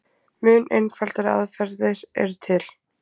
mun einfaldari aðferðir eru til